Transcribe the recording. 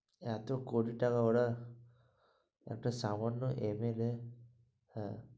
এত কোটি টাকা ওরা একটা সামান্য MLA এর হ্যাঁ।